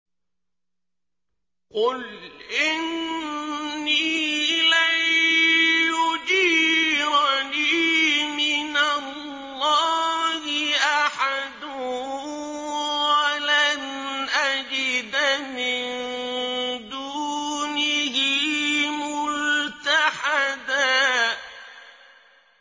قُلْ إِنِّي لَن يُجِيرَنِي مِنَ اللَّهِ أَحَدٌ وَلَنْ أَجِدَ مِن دُونِهِ مُلْتَحَدًا